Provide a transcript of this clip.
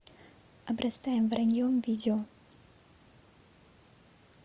обрастаем враньем видео